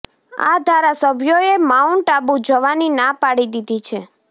આ ધારાસભ્યોએ માઉન્ટ આબુ જવાની ના પાડી દીધી છે